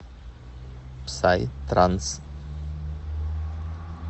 псай транс